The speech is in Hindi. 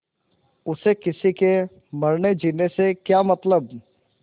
उसे किसी के मरनेजीने से क्या मतलब